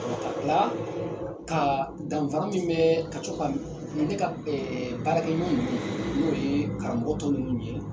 La ka danfara min bɛ ka co ka ne ka baarakɛ ɲɔ ninnu, n'o ye karamɔgɔ tɔ ninnu ye